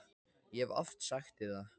Ég hef oft sagt þér það.